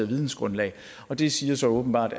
vidensgrundlag og det siger så åbenbart